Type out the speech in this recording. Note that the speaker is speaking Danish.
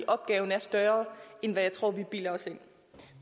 opgaven er større end jeg tror vi bilder os ind